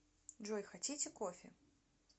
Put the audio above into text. джой хотите кофе